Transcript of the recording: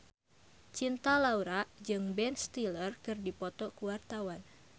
Cinta Laura jeung Ben Stiller keur dipoto ku wartawan